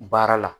Baara la